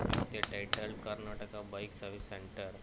pic they title karnataka bike service center.